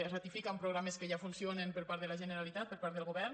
es ratifiquen programes que ja funcionen per part de la generalitat per part del govern